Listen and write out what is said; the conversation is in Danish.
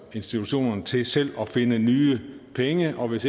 institutionerne til selv at finde nye penge og hvis